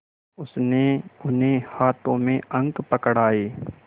उसने उन्हें हाथों में अंक पकड़ाए